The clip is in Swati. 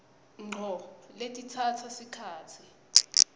ngco letitsatsa sikhatsi